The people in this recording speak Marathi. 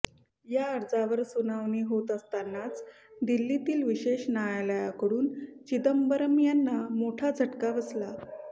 या अर्जावर सुनावणी होत असतानाच दिल्लीतील विशेष न्यायालयाकडून चिदंबरम यांना मोठा झटका बसला